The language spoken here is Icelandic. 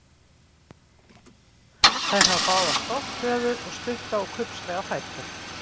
Þær hafa báðar stórt höfðuð og stutta og kubbslega fætur.